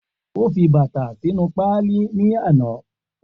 O fi bata sinu paali ni ana